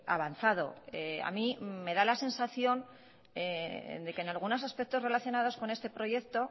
avanzado a mí me da la sensación de que en algunos aspectos relacionados con este proyecto